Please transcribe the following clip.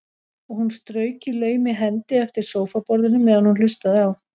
Og hún strauk í laumi hendi eftir sófaborðinu meðan hún hlustaði á